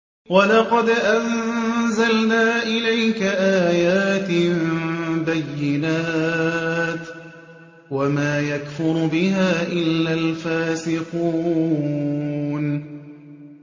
وَلَقَدْ أَنزَلْنَا إِلَيْكَ آيَاتٍ بَيِّنَاتٍ ۖ وَمَا يَكْفُرُ بِهَا إِلَّا الْفَاسِقُونَ